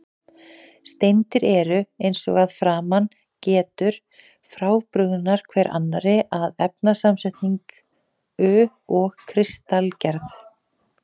Steindir eru, eins og að framan getur, frábrugðnar hver annarri að efnasamsetningu og kristalgerð.